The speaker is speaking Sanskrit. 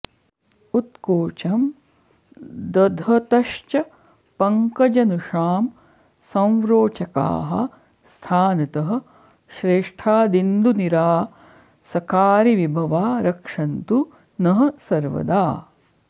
उत्कोचं दधतश्च पङ्कजनुषां संरोचकाः स्थानतः श्रेष्ठादिन्दुनिरासकारिविभवा रक्षन्तु नः सर्वदा